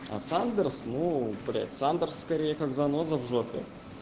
а сандерс ну блядь сандерс скорее как заноза в жопе